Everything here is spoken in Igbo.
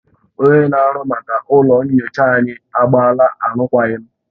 Onye na-ahụ maka ụlọ nyocha anyị agbaala arụkwaghịm